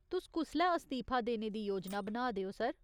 तुस कुसलै अस्तीफा देने दी योजना बना दे ओ, सर ?